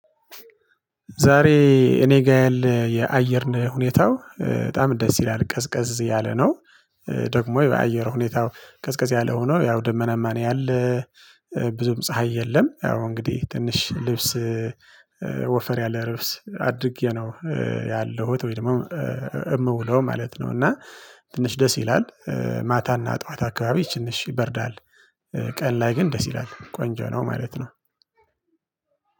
ዛሬ እኔ ጋር ያለ የአየርን ሁኔታው በጣም ደስ ይላል ቀዝቀዝ ያለ ነው። ደግሞ የአየር ሁኔታው ቅዝቀዝ ያለ ሆኖ ያው ደመናማ ነው ያለ። ብዙም ፀሀይ የለም። ያው እንግዲህ ትንሽ ልብስ ወፈር ያለ ልብስ አድርጌ ነው ያለሁት ወይ ደግሞ እምውለው ማለት ነው። እና ትንሽ ደስ ይላል። ማታና ጠዋት አካባቢ ትንሽ ይበርዳል። ቀን ላይ ግን ደስ ይላል ቆንጆ ነው ማለት ነው።